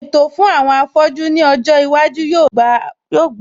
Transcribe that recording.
Ètò fún àwọn afọ́jú ní ọjọ́ iwájú yóò gbà wọn láàyè láti ní ẹ̀kọ́